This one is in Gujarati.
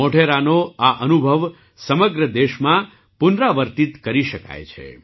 મોઢેરાનો આ અનુભવ સમગ્ર દેશમાં પુનરાવર્તિત કરી શકાય છે